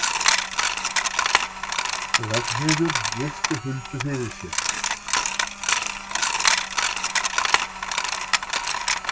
Ragnheiður virti Huldu fyrir sér.